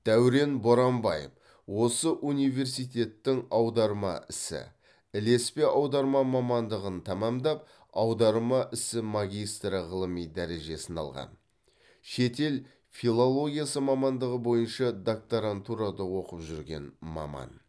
дәурен боранбаев осы университеттің аударма ісі ілеспе аударма мамандығын тәмамдап аударма ісі магистрі ғылыми дәрежесін алған шетел филологиясы мамандығы бойынша докторантурада оқып жүрген маман